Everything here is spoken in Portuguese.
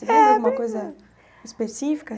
Você lembra alguma coisa específica?